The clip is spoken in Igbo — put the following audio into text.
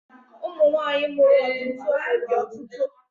Ụmụ nwaanyị mụrụ otụtụ ụmụ dị ọtụtụ.